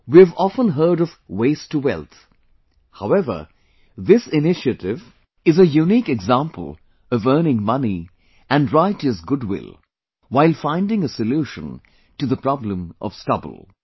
We have often heard of 'waste to wealth', however, this initiative is a unique example of earning money and righteous goodwill while finding a solution to the problem of stubble